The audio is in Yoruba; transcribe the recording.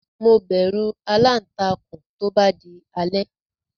Mo bẹ̀rù aláǹtakùn tó bá di alẹ́.